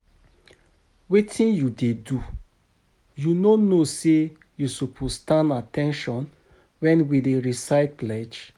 Wetin you dey do? You no know say you suppose stand at at ten tion wen we dey recite pledge